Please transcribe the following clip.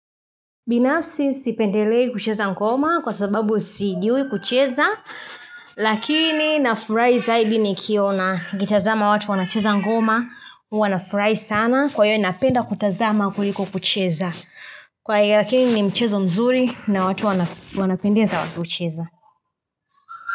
Binafsi sipendelei kucheza ngoma kwa sababu sijiui kucheza Lakini nafurai zaidi nikiona nikitazama watu wanacheza ngoma Wanafurai sana kwa hiyo napenda kutazama kuliko kucheza Kwa hiyo lakini ni mchezo mzuri na watu wanapendeza wakiucheza.